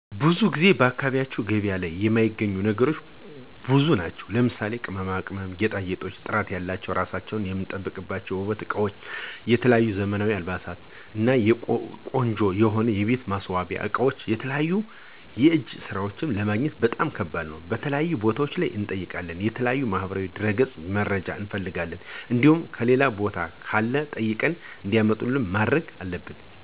ብዙ ጊዜ በአካባቢያችን ገበያ ላይ የማይገኙ ነገሮች ብዙ ናቸው ለምሳሌ:- ቅመማ ቅመም፣ ጌጣጌጦች፣ ጥራት ያላቸው ራሳችን የምንጠብቅባችው የውበት እቃወች፣ የተለያዩ ዘመናዊ አልባሳት እና ቆንጆ የሆኑ የቤት ማሰዋሲያ አቃወች የተለያዩ የእጀ ሰራወች ለማግኘት በጣም ከባድ ነው። የተለያዩ ቦታዋች እንጠይቃለን የተለያዩ ማህበራዊ ድረገጽ መረጃ እንፍልጋለን እንዲሁም ሌላ ቦታ ካለ ጠይቀን እንዲያመጡልን ማድረግ አለብን።